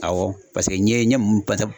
Awɔ paseke n ye n ye ye mun pasab